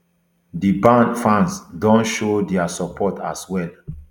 di band fans don show dia support as well